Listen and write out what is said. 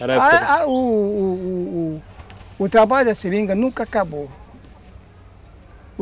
Era a época... O o o trabalho da seringa nunca acabou.